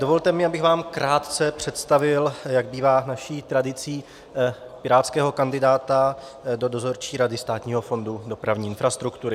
Dovolte mi, abych vám krátce představil, jak bývá naší tradicí, pirátského kandidáta do Dozorčí rady Státního fondu dopravní infrastruktury.